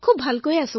আপোনাৰ ভাল নে